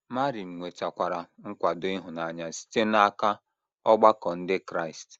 Marin nwetakwara nkwado ịhụnanya site n’aka ọgbakọ ndị Kraịst.